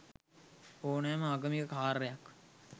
ඕනෑම ආගමික කාර්යයක්